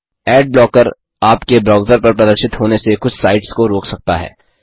add blocker आपके browser पर प्रदर्शित होने से कुछ साइट्स को रोक सकता है